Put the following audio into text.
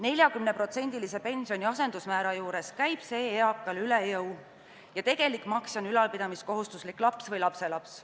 Kui pensioni asendusmäär on 40%, käib see eakale üle jõu ja tegelik maksja on ülalpidamiskohustuslik laps või lapselaps.